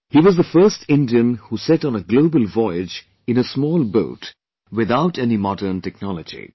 He was the first Indian who set on a global voyage in a small boat without any modern technology